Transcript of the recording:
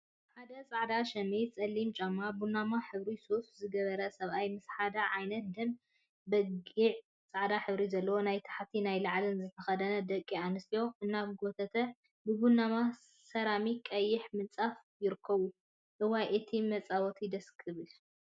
ሓደ ፃዕዳ ሸሚዝ፣ ፀሊምጫማ፣ ቡናማ ሕብሪ ሱፍን ዝገበረ ሰብአይ ምስ ሓደ ዓይነት ደም ገቢዕን ፃዕዳ ሕብሪ ዘለዎ ናይ ታሕቲን ናይ ላዕሊን ዝተከደና ደቂ አንስትዮ እናጎተተን ብቡናማ ሰራሚክን ቀይሕ ምብንፃፍን ይርከቡ፡፡ እዋይ እቲ መፃዊቲ ደስ ክብል፡፡